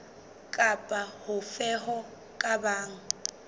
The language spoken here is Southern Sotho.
kapa hofe ho ka bang